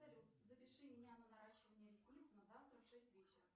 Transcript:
салют запиши меня на наращивание ресниц на завтра в шесть вечера